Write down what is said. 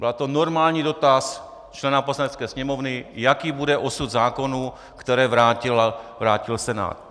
Byl to normální dotaz člena Poslanecké sněmovny, jaký bude osud zákonů, které vrátil Senát.